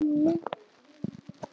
Nei, nú er ég hissa!